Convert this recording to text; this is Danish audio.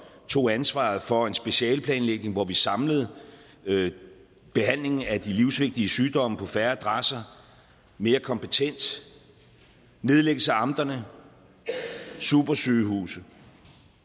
tog ansvaret for en specialeplanlægning hvor vi samlede behandlingen af de livsvigtige sygdomme på færre adresser mere kompetent nedlæggelse af amterne supersygehuse